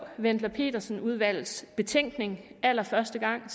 wendler pedersen udvalgets betænkning allerførste gang